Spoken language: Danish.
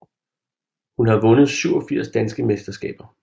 Hun har vundet 47 danske mesterskaber